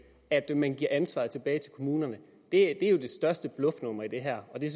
at man giver ansvaret tilbage til kommunerne er jo det største bluffnummer i det her det